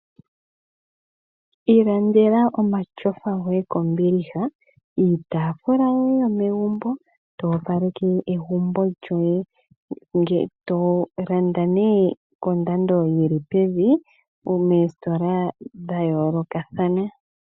Ilandela omatyofa goye kombiliha , iitaafula yoye yomegumbo , toopaleke egumbo lyoye . Landa kondando yili pevi koositola dhayoolokathana.